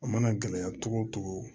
A mana gɛlɛya cogo o cogo